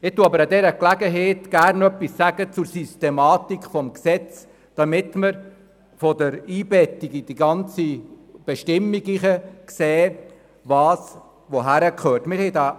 Ich sage aber bei dieser Gelegenheit gerne etwas zur Systematik des Gesetzes, damit wir die Einbettung einzelner Bestimmungen in das Gesetz besser verstehen.